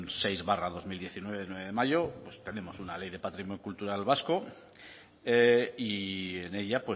seis barra dos mil diecinueve de nueve de mayo pues tenemos una ley de patrimonio cultural vasco y en ella